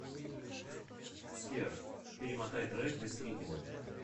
сбер перемотай трек до середины